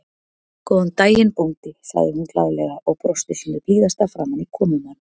Góðan daginn, bóndi sagði hún glaðlega og brosti sínu blíðasta framan í komumann.